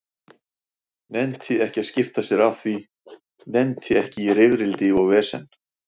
Nennti ekki að skipta sér af því, nennti ekki í rifrildi og vesen.